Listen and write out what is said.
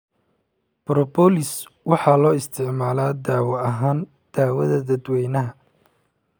Propolis waxaa loo isticmaalaa dawo ahaan daawada dadwaynaha